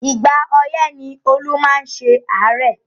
Ìgbà ọyẹ̀ ni Olú máa ń ṣe àárẹ̀